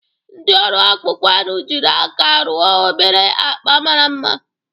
Ndị ọrụ akpụkpọ anụ jiri aka rụọ obere akpa mara mma